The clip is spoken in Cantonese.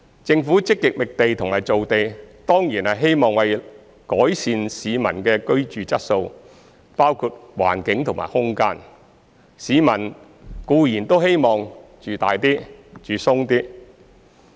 政府積極覓地和造地當然是希望改善市民的居住質素，包括環境和空間，市民固然都希望"住大啲、住鬆啲"。